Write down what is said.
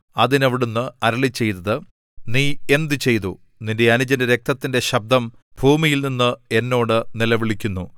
അതിന് അവിടുന്ന് അരുളിച്ചെയ്തത് നീ എന്ത് ചെയ്തു നിന്റെ അനുജന്റെ രക്തത്തിന്റെ ശബ്ദം ഭൂമിയിൽനിന്ന് എന്നോട് നിലവിളിക്കുന്നു